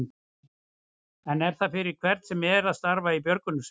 En er það fyrir hvern sem er að starfa í björgunarsveit?